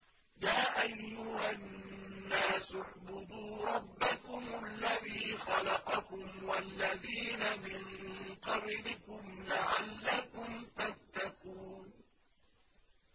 يَا أَيُّهَا النَّاسُ اعْبُدُوا رَبَّكُمُ الَّذِي خَلَقَكُمْ وَالَّذِينَ مِن قَبْلِكُمْ لَعَلَّكُمْ تَتَّقُونَ